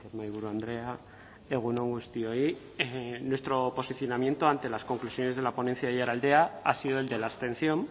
mahaiburu andrea egun on guztioi nuestro posicionamiento ante las conclusiones de la ponencia de aiaraldea ha sido el de la abstención